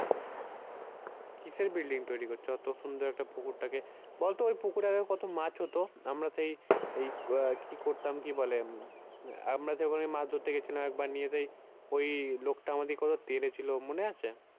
কিসের building তৈরী করছে অত সুন্দর একটা পুকুরটাকে, বলতো ওই পুকুরে আগে কত মাছ হত আমরা সেই এই আহ কি করতাম কি বলে আমরা সেই ওখানে মাছ ধরতে গিয়েছিলাম একবার নিয়ে সেই ওই লোকটা আমাদেরকে কত তেড়ে ছিল মনে আছে?